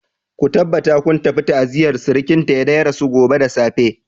Ku tabbata kun tafi ta'aziyar surkinta da ya rasu gobe da safe.